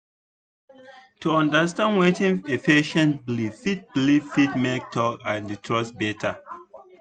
to understand wetin a patient believe fit believe fit make talk and trust better.